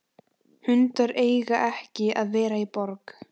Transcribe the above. Gunnþóra, hvenær kemur vagn númer fjörutíu og tvö?